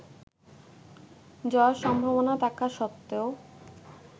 জয়ের সম্ভাবনা থাকা সত্ত্বেও